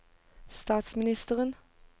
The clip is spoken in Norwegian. statsministeren